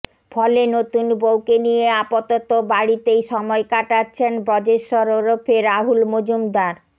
ফলে নতুন বউকে নিয় আপাতত বাড়িতেই সময় কাটাচ্ছেব ব্রজেশ্বর ওরফে রাহুল মজুমদার